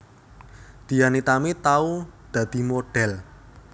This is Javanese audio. Dian Nitami tau dadi modhel